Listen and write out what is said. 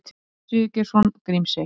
Pétur Sigurgeirsson: Grímsey.